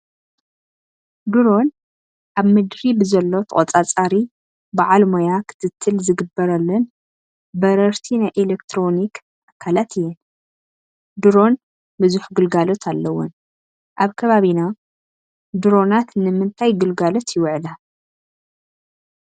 ድሮን ኣብ ምድሪ ብዘሎ ተቖፃፃሪ በዓል ሞይ ክትትል ዝግበረለን በረርቲ ናይ ኤለክትሮኒክ ኣካላት እየን፡፡ ድሮን ብዙሕ ግልጋሎት ኣለወን፡፡ ኣብ ከባቢና ድሮናን ንምንታይ ግልጋሎት ይውዕላ?